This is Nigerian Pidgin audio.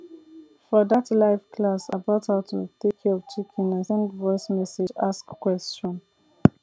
for dat live class about how to take care of chicken i send voice message ask question